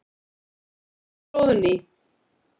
Hróðný